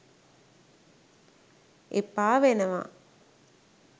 එපා වෙනවා